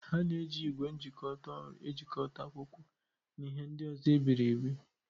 A na-eji ígwè njikota ọrụ ejikọta akwụkwọ na ihe ndị ọzọ e biri ebi.